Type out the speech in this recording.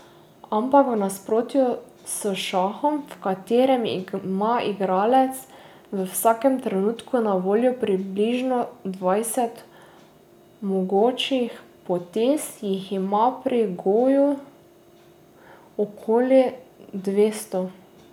Ampak v nasprotju s šahom, v katerem ima igralec v vsakem trenutku na voljo približno dvajset mogočih potez, jih ima pri goju okoli dvesto.